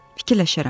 "Fikirləşərəm.